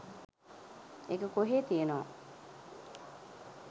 ඒක කොහේ තියනවා